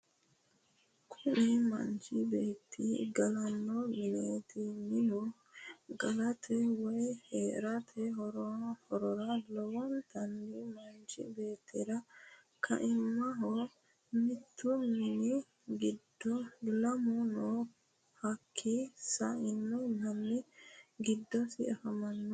Kuni manchi beeti galano mineeti. Minu galate woyi herrate horrora lowontani manichi bettirra ka'imaho mittu mini giddo lamu nna hakii sa'ino Mani gidosi afammanno.